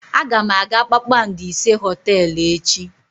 Aga m aga kpakpando ise hoteelu echi.